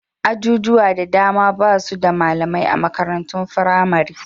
Ajujuwa da dama ba su da malamai a makarantun firamare.